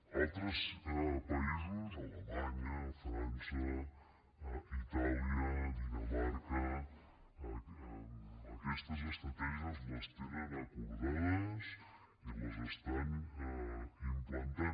a altres països alemanya frança itàlia dinamarca aquestes estratègies les tenen acordades i les estan implantant